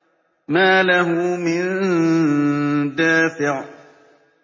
مَّا لَهُ مِن دَافِعٍ